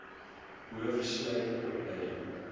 boov sluit opleiding